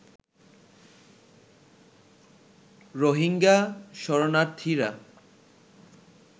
Rohingya শরণার্থীরা